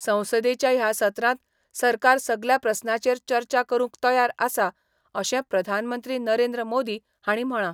संसदेच्या ह्या सत्रांत सरकार सगल्या प्रस्नाचेर चर्चा करूंक तयार आसा अशें प्रधानमंत्री नरेंद्र मोदी हांणी म्हळां.